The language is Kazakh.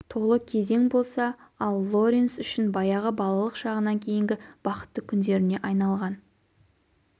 толы кезең болса ал лоренс үшін баяғы балалық шағынан кейінгі бақытты күндеріне айналған